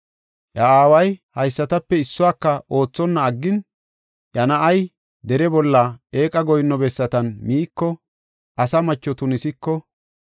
iya aaway haysatape issuwaka oothonna aggin, iya na7ay dere bolla eeqa goyinno bessatan miiko, asa macho tunisiko,